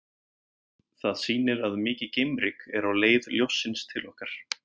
Það sýnir að mikið geimryk er á leið ljóssins til okkar.